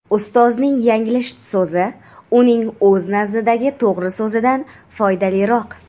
ustozning yanglish so‘zi uning o‘z nazdidagi to‘g‘ri so‘zidan foydaliroq.